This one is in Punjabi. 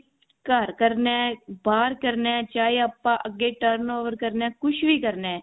ਘਰ ਕਰਨਾ ਬਾਹਰ ਕਰਨਾ ਬੱਚੇ ਚਾਹੇ ਆਪਾਂ ਅੱਗੇ turn over ਕਰਨਾ ਕੁਛ ਵੀ ਕਰਨਾ